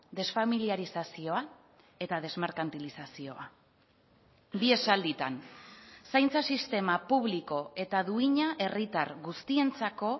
desfamiliarizazioa eta desmerkantilizazioa bi esalditan zaintza sistema publiko eta duina herritar guztientzako